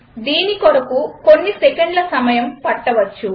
దీనికి కొన్ని సెకండ్ల సమయం పట్టవచ్చు